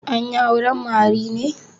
An yi auren Mary ne?